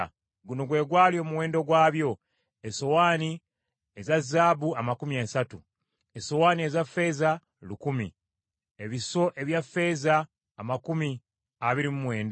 Guno gwe gwali omuwendo gwabyo: Esowaani eza zaabu amakumi asatu 30, Esowaani eza ffeeza lukumi 1,000, Ebiso ebya ffeeza amakumi abiri mu mwenda 29,